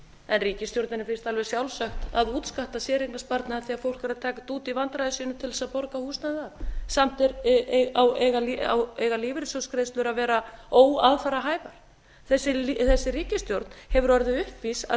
en ríkisstjórninni finnst alveg sjálfsagt að útskatta séreignarsparnaðinn þegar fólk er að taka þetta út í vandræðum sínum til þess að borga húsnæði af samt eiga lífeyrissjóðsgreiðslur að vera óaðfararhæfar þessi ríkisstjórn hefur orðið uppvís að